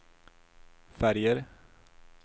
färger